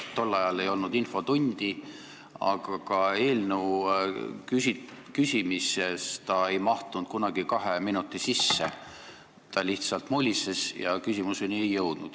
Tol ajal ei olnud infotundi, aga ka eelnõu kohta küsides ei mahtunud ta kunagi kahe minuti sisse, ta lihtsalt mulises ja küsimuseni ei jõudnud.